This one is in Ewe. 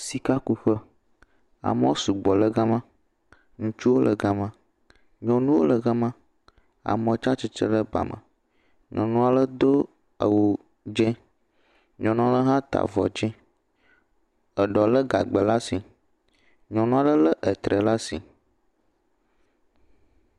Sikakuƒe, amewo sugbɔ le gama, ŋutsuwo le gama, nyɔnuwo le gama, amewo tsatsitre le ba me, nyɔnu ale do awu dzɛ̃, nyɔnu ale hã ta avɔ dzɛ̃, eɖewo lé gagbɛ le asi, nyɔnu ale lé etre le asi.